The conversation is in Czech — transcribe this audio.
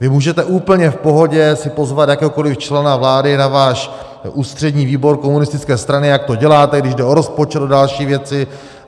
Vy můžete úplně v pohodě si pozvat jakéhokoli člena vlády na váš ústřední výbor komunistické strany, jak to děláte, když jde o rozpočet a další věci.